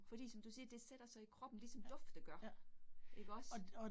Fordi som du siger, det sætter sig i kroppen ligesom dufte gør. Ikke også